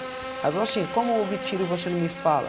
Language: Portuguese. Aí eu ela falou assim, como ouve tiro e você não me fala?